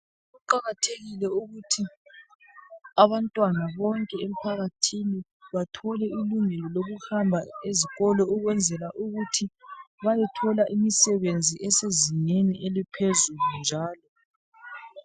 Kuqakathekile ukuthi abantwana bonke emphakathini bathole ilungelo lokuhamba ezikolo ukwenzela ukuthi bayethola imisebenzi esezingeni eliphezulu njalo.